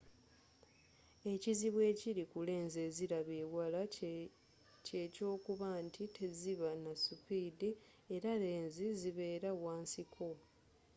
ekizibu ekiri ku lenzi eziraba ewala kye kyokuba nti teziba na supidi era lenzi zibeera wa nsiko